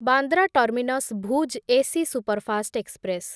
Bandra terminus Bhuj AC superfast express